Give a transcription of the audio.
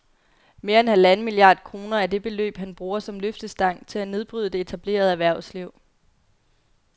Mere end halvanden milliard kroner er det beløb, han bruger som løftestang til at nedbryde det etablerede erhvervsliv